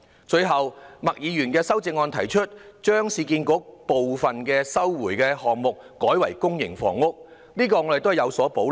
最後，麥議員的修正案提出將市區重建局部分收回的土地改為發展公營房屋，我們對此亦有所保留。